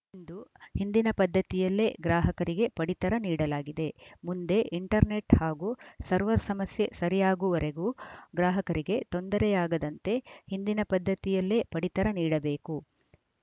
ಇಂದು ಹಿಂದಿನ ಪದ್ದತಿಯಲ್ಲೇ ಗ್ರಾಹಕರಿಗೆ ಪಡಿತರ ನೀಡಲಾಗಿದೆ ಮುಂದೆ ಇಂಟರ್‌ ನೆಟ್‌ ಹಾಗೂ ಸರ್ವರ್‌ ಸಮಸ್ಯೆ ಸರಿಯಾಗುವುವರೆಗೂ ಗ್ರಾಹಕರಿಗೆ ತೊಂದರೆಯಾಗದಂತೆ ಹಿಂದಿನ ಪದ್ದತಿಯಲ್ಲೇ ಪಡಿತರ ನೀಡಬೇಕು